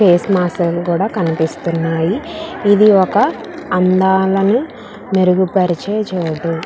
Face mask లు కూడా కనిపిస్తునాయి. ఇది ఒక అందాలను మెరుగు పరిచే చోటు.